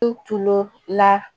I tun la